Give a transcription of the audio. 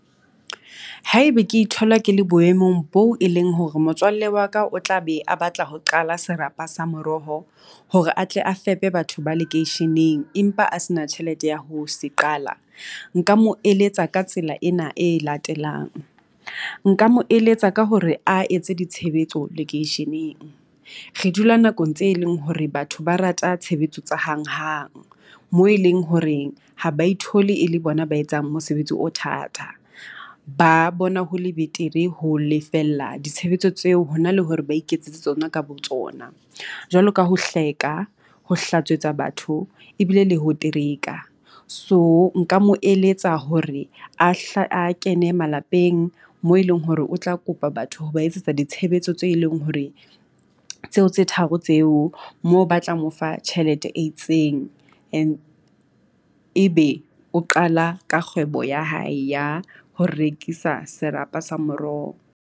Haebe ke ithola ke le boemong boo e leng hore motswalle wa ka o tla be a batla ho qala serapa sa moroho hore atle a fepe batho ba lekeisheneng, empa a se na tjhelete ya ho se qala. Nka mo eletsa ka tsela ena e latelang, nka mo eletsa ka hore a etse ditshebetso lekeisheneng. Re dula nakong tse leng hore batho ba rata tshebetso tsa hanghang, moo e leng hore ha ba ithole e le bona ba etsang mosebetsi o thata, ba bona ho le betere ho lefella ditshebetso tseo hona le hore ba iketsetse tsona ka botsona. Jwalo ka ho hleka ho hlatswetsa batho ebile le ho teraeka. So nka mo eletsa hore a hla a kene malapeng moo e leng hore o tla kopa batho ho ba etsetsa ditshebetso tse leng hore tseo tse tharo tseo mo batlang ho fa tjhelete e itseng. And e be o qala ka kgwebo ya hae ya ho rekisa serapa sa moroho.